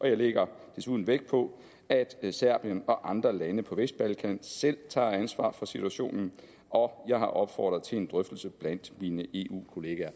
jeg lægger desuden vægt på at serbien og andre lande på vestbalkan selv tager ansvar for situationen og jeg har opfordret til en drøftelse blandt mine eu kollegaer